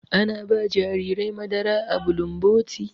Ana ba jarirai madara a bulumboti.